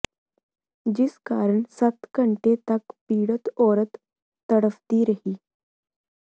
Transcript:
ਜਿਸ ਕਾਰਨ ਸੱਤ ਘੰਟੇ ਤਕ ਪੀੜਤ ਔਰਤ ਤੜਫ਼ਦੀ ਰਹੀ